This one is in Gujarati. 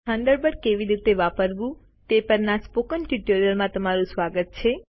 થંડરબર્ડ કેવી રીતે વાપરવું તે પરના સ્પોકન ટ્યુટોરીયલમાં તમારું સ્વાગત છે